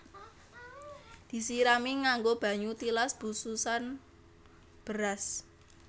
Disirami nganggo banyu tilas bususan beras